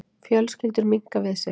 Fjölskyldur minnka við sig